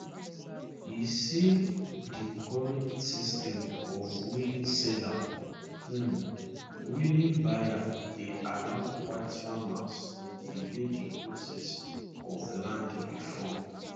e say di current system of willing seller um willing buyer dey allow white farmers to delay di process of land reform